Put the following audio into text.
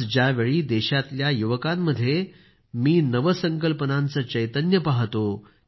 आज ज्यावेळी देशातल्या युवकांमध्ये मी नवसंकल्पनांचे चैतन्य पाहतो